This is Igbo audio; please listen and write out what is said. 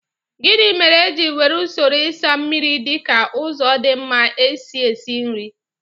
Gịnị mere e ji were usoro ịsa mmiri dị ka ụzọ dị mma isi esi nri?